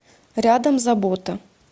рядом забота